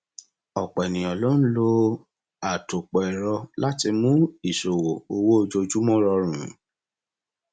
ọpọ ènìyàn ló ń lo àtòpọ ẹrọ láti mú ìṣòwò owó ojoojúmọ rọrùn